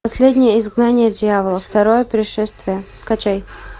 последнее изгнание дьявола второе пришествие скачай